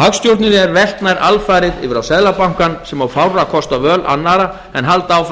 hagstjórninni er velt nær alfarið yfir á seðlabankann sem á fárra kosta völ annarra en að halda áfram að